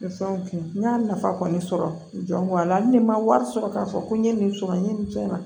Nin fɛnw kɛ n y'a nafa kɔni sɔrɔ n jan ko a la ni n ma wari sɔrɔ k'a fɔ ko n ye nin sɔrɔ n ye nin fɛn ma